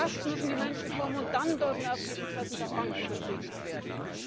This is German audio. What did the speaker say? Zuerst müssen die Menschen kommen, und dann dürfen erst die Interessen der Banken befriedigt werden.